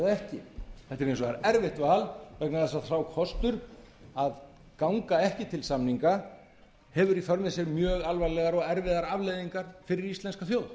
ekki þetta er hins vegar erfitt val vegna þess að sá kostur að ganga ekki til samninga hefur í för með sér mjög alvarlegar og erfiðar afleiðingar fyrir íslenska þjóð